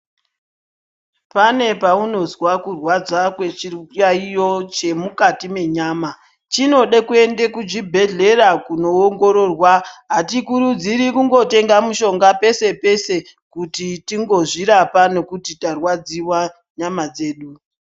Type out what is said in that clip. Pane kwaunonzwa kurwadza kwechiyayo chemukati menyama chinoda kuenda kuchibhedhlera koongororwa Atikuridzirwi kungotenga mishonga pese pese kuti tingozvirapa nekuti tarwadziwa nyama dzedu.